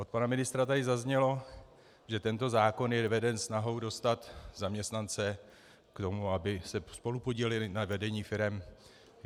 Od pana ministra tady zaznělo, že tento zákon je veden snahou dostat zaměstnance k tomu, aby se spolupodíleli na vedení firem.